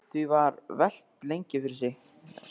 Því var velt lengi fyrir sér.